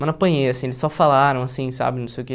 Mas não apanhei, assim, eles só falaram, assim, sabe, não sei o quê.